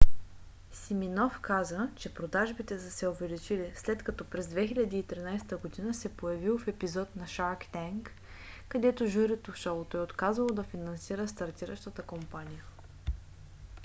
симиноф каза че продажбите са се увеличили след като през 2013 г. се появил в епизод на shark tank където журито в шоуто е отказало да финансира стартиращата компания